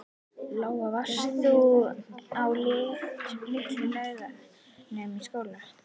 Lóa: Varst þú á Litlu-Laugum í skóla?